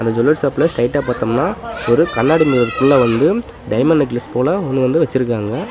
இந்த ஜுவல்லரி ஷாப்ல ஸ்ட்ரெய்ட்டா பாத்தம்னா ஒரு கண்ணாடி மிரருக்குள்ள வந்து டைமண்ட் நெக்லஸ் போல ஒன்னு வந்து வெச்சுருக்காங்க.